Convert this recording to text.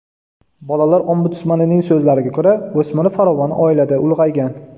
Bolalar ombudsmanining so‘zlariga ko‘ra, o‘smir farovon oilada ulg‘aygan.